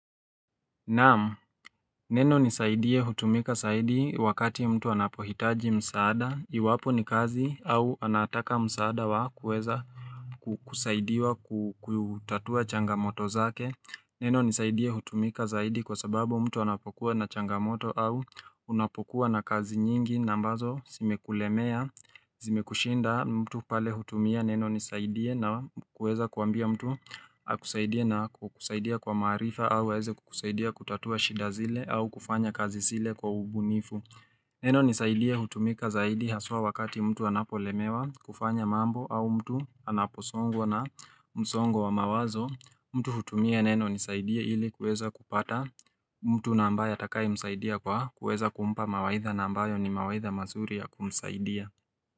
Naam, neno nisaidie hutumika saidi wakati mtu anapohitaji msaada, iwapo ni kazi au anataka msaada wa kueza kusaidiwa kutatua changamoto zake Neno nisaidie hutumika zaidi kwa sababu mtu anapokuwa na changamoto au unapokuwa na kazi nyingi na ambazo simekulemea, zimekushinda mtu pale hutumia neno nisaidie na kuweza kuambia mtu akusaidie na kukusaidia kwa maarifa au aweze kukusaidia kutatua shida zile au kufanya kazi zile kwa ubunifu. Neno nisaidie hutumika zaidi haswa wakati mtu anapo lemewa kufanya mambo au mtu anaposongwa na msongo wa mawazo. Mtu hutumia neno nisaidie ili kuweza kupata mtu na ambaye atakaye msaidia kwa kueza kumpa mawaidha na ambayo ni mawaidha mazuri ya kumsaidia.